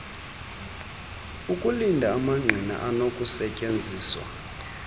okulinda amangqina anokusetyenziswa